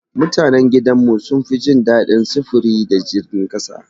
Mutanan gidan mu sun fi jin daɗin sufuri da jirgin ƙasa.